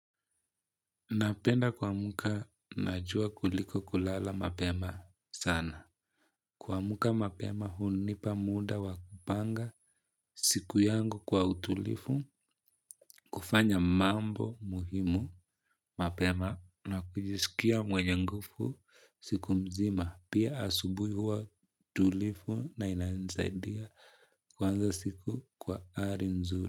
Napenda kwamka na jua kuliko kulala mapema sana. Kwamka mapema hunipa muda wa kupanga siku yangu kwa utulifu, kufanya mambo muhimu, mapema na kujisikia mwenye ngufu siku mzima. Pia, asubuhi huwa tulifu na inansaidia kuanza siku kwa ari nzuri.